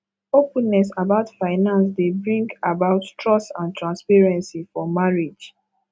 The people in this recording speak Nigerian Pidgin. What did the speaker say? openness about finance dey bring about trust and transparency for marriage